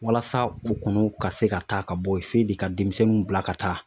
Walasa u kɔnɔw ka se ka taa ka bɔ yen f'e de ka denmisɛnninw bila ka taa